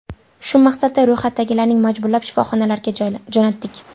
Shu maqsadda ro‘yxatdagilarni majburlab shifoxonalarga jo‘natdik.